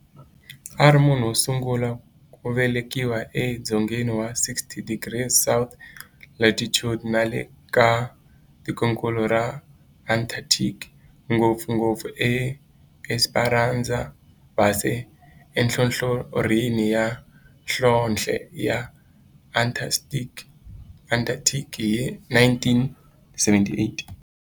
A ri munhu wosungula ku velekiwa e dzongeni wa 60 degrees south latitude nale ka tikonkulu ra Antarctic, ngopfungopfu eEsperanza Base enhlohlorhini ya nhlonhle ya Antarctic hi 1978.